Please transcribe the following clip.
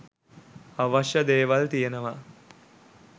අවශ්‍ය දේවල් තියනවා.